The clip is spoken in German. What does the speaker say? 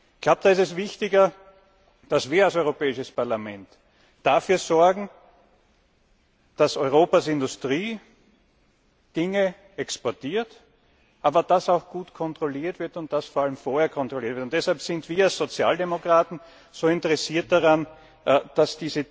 Ich glaube, da ist es wichtiger, dass wir als Europäisches Parlament dafür sorgen, dass Europas Industrie exportiert, aber dass auch gut kontrolliert wird, und dass vor allem vorher kontrolliert wird. Deshalb sind wir als Sozialdemokraten so interessiert daran, dass